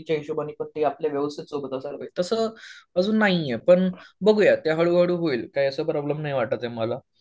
च्या हिशोबाने आपले व्यवस्थित तसं अजून नाहीये पण बघूया ते हळू हळू होईल. काय असं प्रॉब्लेम नाही ये वाटत ये मला.